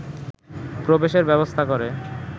প্রবেশের ব্যবস্থা করে